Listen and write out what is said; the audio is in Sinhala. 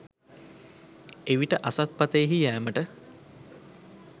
එවිට අසත් පථයෙහි යෑමට